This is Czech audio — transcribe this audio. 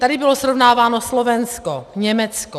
Tady bylo srovnáváno Slovensko, Německo.